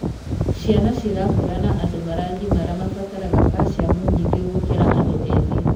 Ciana cirakũra na andũ maragimara mabataraga calcium nyingĩ gũkĩra andũ ethĩ.